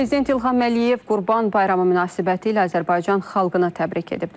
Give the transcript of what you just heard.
Prezident İlham Əliyev Qurban bayramı münasibətilə Azərbaycan xalqına təbrik edib.